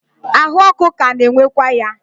ahụ ọkụ ka na-enwekwa ya.